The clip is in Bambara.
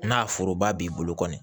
N'a foroba b'i bolo kɔni